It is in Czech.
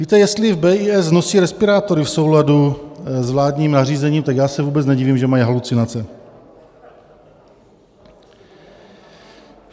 Víte, jestli v BIS nosí respirátory v souladu s vládním nařízením, tak já se vůbec nedivím, že mají halucinace.